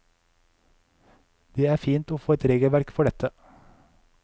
Det er fint å få et regelverk for dette.